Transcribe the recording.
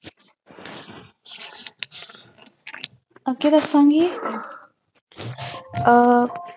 ਅੱਗੇ ਦੱਸਾਂਗੀ ਅਹ